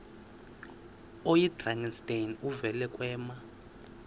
oyidrakenstein uvele kwema